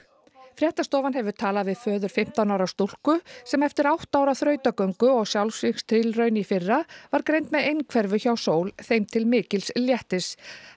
fréttastofan hefur talað við föður fimmtán ára stúlku sem eftir átta ára þrautagöngu og sjálfsvígstilraun í fyrra var greind með einhverfu hjá Sól þeim til mikils léttis